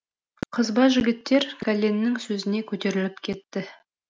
қызба жігіттер кәленнің сөзіне көтеріліп кетті